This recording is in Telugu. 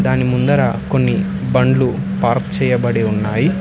దాని ముందర కొన్ని బండ్లు పార్క్ చేయబడి ఉన్నాయ్.